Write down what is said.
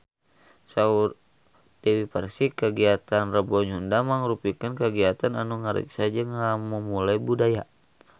Saur Dewi Persik kagiatan Rebo Nyunda mangrupikeun kagiatan anu ngariksa jeung ngamumule budaya Sunda